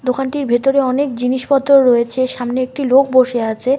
দোকানটির ভেতরে অনেক জিনিসপত্র রয়েছে। সামনে একটি লোক বসে আছে।